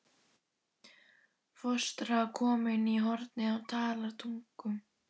Fóstra komin í hornið og talar tungum.